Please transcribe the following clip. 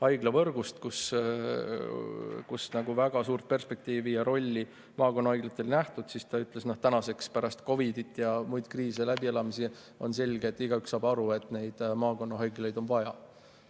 haiglavõrgu plaan, siis seal väga suurt perspektiivi ja rolli maakonnahaiglatel ei nähtud, aga tänaseks, pärast COVID‑it ja muid kriise ja läbielamisi on selge, igaüks saab aru, et maakonnahaiglaid on vaja.